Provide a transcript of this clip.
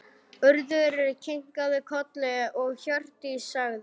Urður kinkaði kolli og Hjördís sagði